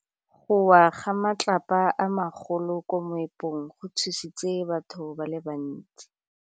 Go wa ga matlapa a magolo ko moepong go tshositse batho ba le bantsi.